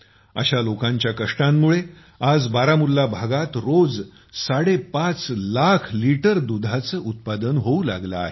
अशा लोकांच्या कष्टांमुळे आज बारामुल्ला भागात रोज साडेपाच लाख लिटर दुधाचे उत्पादन होऊ लागले आहे